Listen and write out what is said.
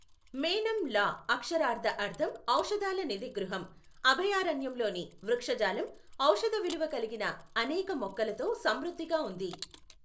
మేనమ్ లా అక్షరార్థ అర్థం ఔషధాల నిధి గృహం, అభయారణ్యంలోని వృక్షజాలం ఔషధ విలువ కలిగిన అనేక మొక్కలతో సమృద్ధిగా ఉంది.